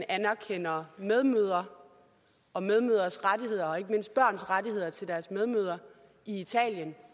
anerkender medmødre og medmødres rettigheder og ikke mindst børns rettigheder i forhold til deres medmødre i italien